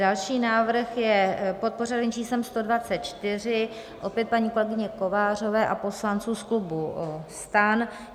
Další návrh je pod pořadovým číslem 124, opět paní kolegyně Kovářové a poslanců z klubu STAN.